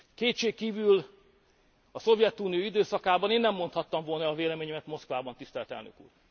Kétségkívül a Szovjetunió időszakában én nem mondhattam volna el a véleményemet Moszkvában, tisztelt elnök úr.